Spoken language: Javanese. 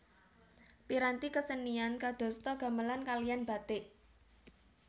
Piranti kesenian kadosta gamelan kaliyan batik